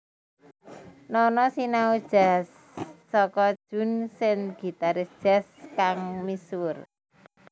Nono sinau jazz saka Jun Sen gitaris jazz kang misuwur